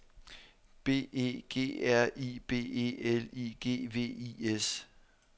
B E G R I B E L I G V I S